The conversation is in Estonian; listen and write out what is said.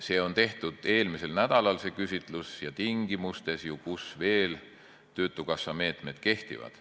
See küsitlus tehti eelmisel nädalal, kui veel töötukassa meetmed kehtisid.